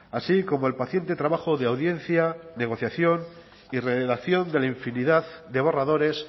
así como el paciente trabajo de audiencia negociación y redacción de la infinidad de borradores